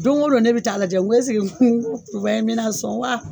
Don go do ne be ta'a lajɛ ko esike papaye in bi na sɔn wa